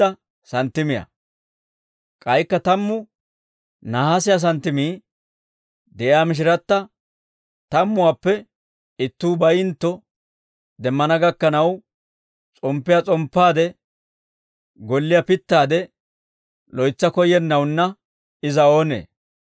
«K'aykka tammu nahaasiyaa santtimii de'iyaa mishiratta tammuwaappe ittuu bayintto demmana gakkanaw s'omppiyaa s'omppaade, golliyaa pittaade loytsa koyyennawunna iza oonee?